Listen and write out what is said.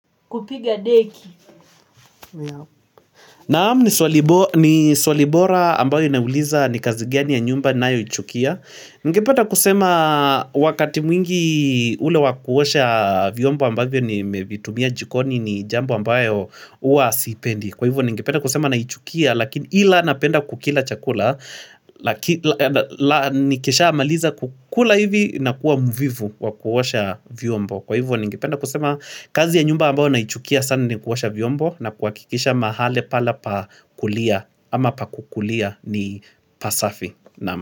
Kazi gani ya nyumba ninayoichukia? Ningependa kusema wakati mwingi ule wa kuosha vyombo ambavyo nimevitumia jikoni ni jambo ambayo huwa sipendi. Kwa hivyo ningependa kusema naichukia lakini ila napenda kukila chakula, nikisha maliza kukula hivi nakuwa jambo ambalo naichukia sana ni kuosha vyombo na kuhakikisha mahali pale pa kulia ama pakukulia ni pasafi. Naam.